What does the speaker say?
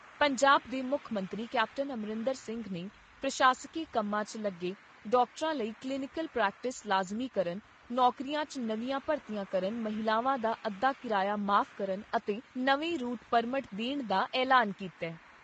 ਪੰਜਾਬ ਦੇ ਮੁੱਖ ਮੰਤਰੀ ਕੈਪਟਨ ਅਮਰਿੰਦਰ ਸਿੰਘ ਨੇ ਪ੍ਰਸ਼ਾਸਕੀ ਕੰਮਾਂ 'ਚ ਲੱਗੇ ਡਾਕਟਰਾਂ ਲਈ ਕਲੀਨੀਕਲ ਪ੍ਰੈਕਟਿਸ ਲਾਜ਼ਮੀ ਕਰਨ, ਨੌਕਰੀਆਂ 'ਚ ਨਵੀਆਂ ਭਰਤੀਆਂ ਕਰਨ, ਮਹਿਲਾਵਾਂ ਦਾ ਅੱਧਾ ਕਿਰਾਇਆ ਮਾਫ਼ ਕਰਨ ਅਤੇ ਨਵੇਂ ਰੂਟ ਪਰਮਟ ਦੇਣ ਦਾ ਐਲਾਨ ਕੀਤਾ ।